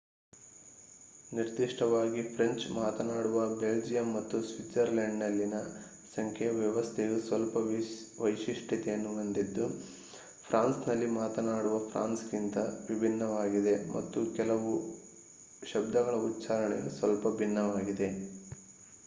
ನಿರ್ದಿಷ್ಟವಾಗಿ ಫ್ರೆಂಚ್‌ ಮಾತನಾಡುವ ಬೆಲ್ಜಿಯಂ ಮತ್ತು ಸ್ವಿಜರ್ಲೆಂಡ್‌ನಲ್ಲಿನ ಸಂಖ್ಯೆ ವ್ಯವಸ್ಥೆಯು ಸ್ವಲ್ಪ ವೈಶಿಷ್ಟ್ಯತೆಯನ್ನು ಹೊಂದಿದ್ದು ಫ್ರಾನ್ಸ್‌ನಲ್ಲಿ ಮಾತನಾಡುವ ಫ್ರಾನ್ಸ್‌ಗಿಂತ ವಿಭಿನ್ನವಾಗಿದೆ ಮತ್ತು ಕೆಲವು ಶಬ್ದಗಳ ಉಚ್ಛಾರಣೆಯು ಸ್ವಲ್ಪ ಭಿನ್ನವಾಗಿದೆ